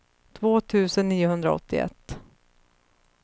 två tusen niohundraåttioett